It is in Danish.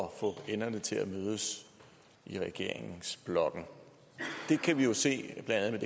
at få enderne til at mødes i regeringsblokken vi kan jo se blandt andet